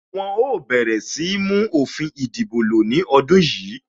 Wọn ó bẹ̀rẹ̀ sí ní mú òfin ìdìbò lo ní ọdún yìí